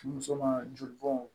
Muso ma joli bɔn